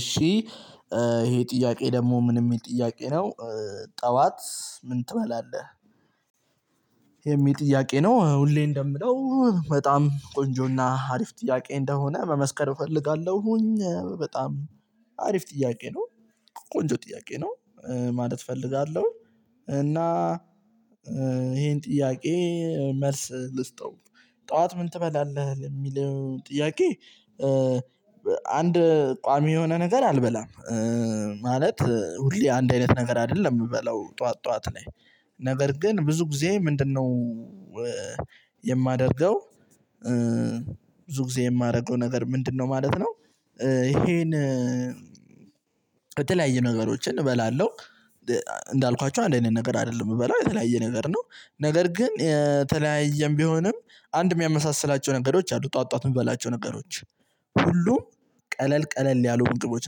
እሺ ይሄ ጥያቄ ደግሞ ምን የሚል ጥያቄ ነው ጠዋት ምን ትበላለህ? የሚል ጥያቄ ነው ሁሌ እንደምለው በጣም ቆንጆና አሪፍ ጥያቄ እንደሆነ መመስከር እፈልጋለሁኝ በጣም አሪፍ ጥያቄ ነው ቆንጆ ጥያቄ ነው ማለት እፈልጋለሁ። እና ይሄን ጥያቄ መልስል ስጠው ጠዋት ምን ትበላለህ ለሚለው ጥያቄ? አንድ ቋሚ የሆነ ነገር አልበላም። ማለት ሁሌ አንድ አይነት ነገር አይደለም የምበለው ጠዋት ጠዋት ላይ። ነገር ግን ብዙ ጊዜ ምንድነው? የማደርገው። ብዙ ጊዜ የማደርገው ነገር ምንድነው ማለት ነው። ይሄን የተለያየ ነገሮችን እበላለሁ። እንዳልኳችሁ አንድ አይነት ነገር አይደለም የምበላው የተለያየ ነገር ነው። ነገር ግን የተለያየም ቢሆንም አንድ የሚያመሳስላቸው ነገሮች አሉ ጠዋት የሚበላቸው ነገሮች። ሁሉ ም ቀለል ቀለል ያሉ ምግቦች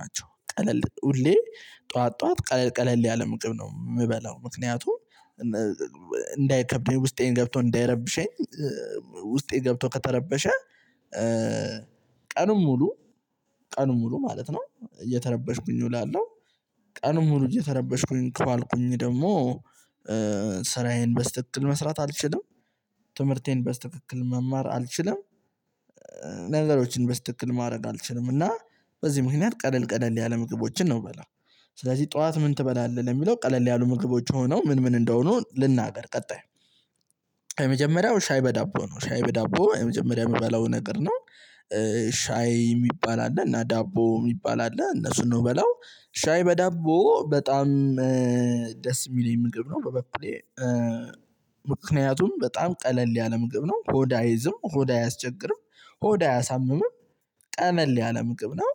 ናቸው። ቀለል ሁሌ ጠዋት ጠዋት ቀለል ቀለል ያለ ምግብ ነው የምበላው። ምክንያቱም እንዳይከብደኝ ውስጤን ገብቶ እንዳይረብሸኝ። ውስጤ ገብቶ ከተረበሸ። ቀኑን ሙሉ ቀኑን ሙሉ ማለት ነው እየተረበሽኩኝ እውላለሁ። ቀኑን ሙሉ እየተረበሽኩኝ ከዋልኩኝ ደግሞ ስራዬን በስትክክል መስራት አልችልም። ትምህርቴን በስትክክል መማር አልችልም። ነገሮችን በስተክል ማድረግ አልችልም። እና በዚህ ምክንያት ቀለል ቀለል ያለ ምግቦችን ነው የምበላው። ስለዚህ ጠዋት ምን ትበላለህ ለሚለው ቀለል ያሉ ምግቦች ሆነው ምን ምን እንደሆኑ ልናገር ቀጣይ። የመጀመሪያው ሻይ በዳቦ ነው ሻይ በዳቦ የመጀመሪያው የምበላው ነገር ነው። ሻይ የሚባል አለ እና ዳቦ የሚባል አለ እነሱን ነው የምበላው ሻይ በዳቦ በጣም ደስ የሚለኝ ምግብ ነው። በበኩሌ ምክንያቱም በጣም ቀለል ያለ ምግብ ነው። ሆድ አይዝም ሆድ አያስቸግርም። ሆድ አያሳምምም። ቀለል ያለ ምግብ ነው።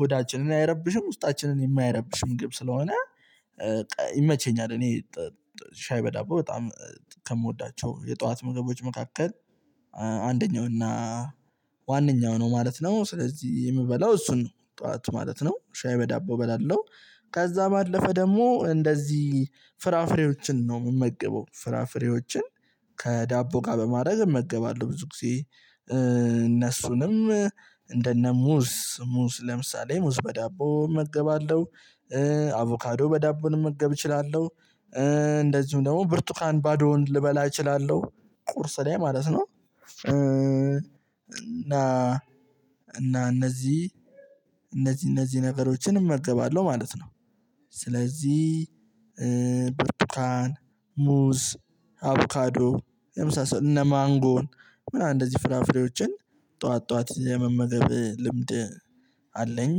ሆዳችንን አይረብሽም ውስጣችንን የማይረብሽ ምግብ ስለሆነ። ይመቸኛል እኔ ሻይ በዳቦ በጣም ከምወዳቸው የጠዋት ምግቦች መካከል አንደኛው እና ዋነኛው ነው። ማለት ነው ስለዚህ የምበላው እሱን ነው ጠዋት ማለት ነው ሻይ በዳቦ እበላለሁ። ከዛ ባለፈ ደግሞ እንደዚህ ፍራፍሬዎችን ነው ምመገበው ፍራፍሬዎችን ከዳቦ ጋር በማድረግ እመገባለሁ ብዙ ጊዜ። እነሱንም እንደነ ሙዝ ሙዝ ለምሳሌ ሙዝ በዳቦ እመገባለሁ። አቮካዶ በዳቦ ልመገብ እችላለሁ። እንደዚሁም ደግሞ ብርቱካን ባዶውን ልበላ እችላለሁ። ቁርስ ላይ ማለት ነው። እና እና እነዚህ እነዚህ እነዚህ ነገሮችን እመገባለሁ ማለት ነው። ስለዚህ ብርቱካን ሙዝ አቮካዶ የመሳሰሉ እነ ማንጎን ምናምን እንደዚህ ፍራፍሬዎችን ጠዋት ጠዋት የመመገብ ልምድ አለኝ።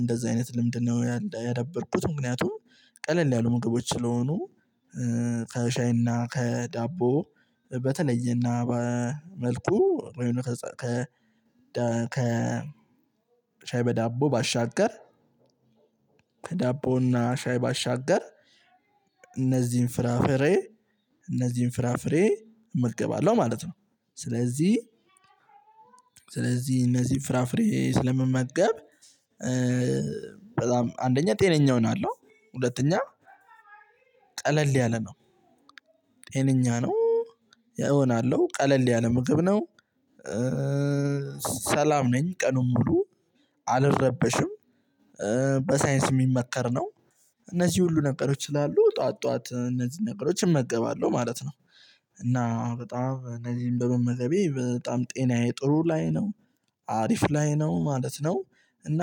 እንደዛ አይነት ልምድ ነው ያደበብኩት ምክንያቱም ቀለል ያሉ ምግቦች ስለሆኑ። ከሻይና ከዳቦ በተለየና በመልኩ ከ ከ ከ ሻይ በዳቦ ባሻገር ሻይ ባሻገር እነዚህን ፍራፍሬ እነዚህን ፍራፍሬ እመገባለው ማለት ነው። ስለዚህ ስለዚህ እነዚህ ፍራፍሬ ስለምመገብ በጣም አንደኛ ጤነኛ ሆናለው። ሁለተኛ ቀለል ያለ ነው ጤነኛ ነው እሆናለሁ ቀለል ያለ ምግብ ነው። ሰላም ነኝ ቀኑን ሙሉ አልረበሽም። በሳይንስ ሚመመከር ነው። እነዚህ ሁሉ ነገሮች ስላሉ ጠዋት ጠዋት እነዚህን ነገሮች እመገባሉ ማለት ነው። እና በጣም እነዚህን በመመገቢያ በጣም ጤናዬ ጥሩ ላይ ነው። አሪፍ ላይ ነው ማለት ነው። እና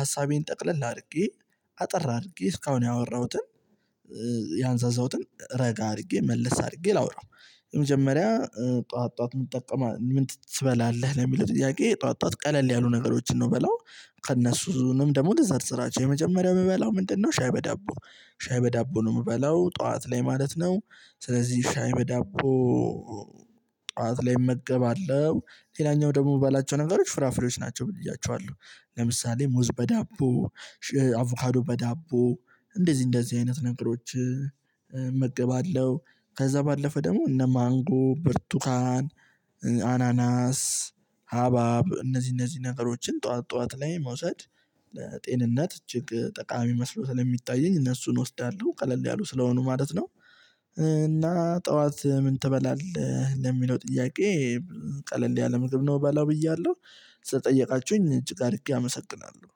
ሀሳቤን ጠቅለል አድርጌ አጠር አድርጌ እስካሁን ያወራሁትን ያንዛዛሁትን ረጋ አድርጌ መልስ አድርጌ ላውራው። የመጀመሪያ ጠዋት ጠዋት ምን ትጠቀማለህ ምን ትበላለህ ለሚለው ጥያቄ ጠዋት ጠዋት ቀለል ያሉ ነገሮችን ነው ምበላው። ከእነሱ ሁሉንም ደግሞ ልዘርዝራቸው የመጀመሪያው ምበላው ምንድነው? ሻይ በዳቦ ሻይ በዳቦ ነው የምበላው ጠዋት ላይ ማለት ነው። ስለዚህ ሻይ በዳቦ ጠዋት ላይ እመገባለሁ። ሌላኛው ደግሞ የምትባላቸው ነገሮች ፍራፍሬዎች ናቸው። ብለው ያቹዋለሁ ለምሳሌ ሙዝ በዳ እንደዚህ እንደዚህ አይነት ነገሮችን እመገባለሁ። ከዛ ባለፈ ደግሞ እነ ማንጎ ብርቱካን አናናስ ሀባብ እነዚህ እነዚህ ነገሮችን ጠዋት ጠዋት ላይ መውሰድ። ለጤንነት እጅግ ጠቃሚ መስሎ ስለሚታየኝ እነሱን እወስዳለሁ ቀለል ያሉ ስለሆኑ ማለት ነው። እና ጠዋት ምን ትበላለህ? ለሚለው ጥያቄ ቀለል ያለ ምግብ ነው ምበላው ብያለሁ። ስጠየቃችሁኝ እጅግ አድርጌ አመሰግናለሁ።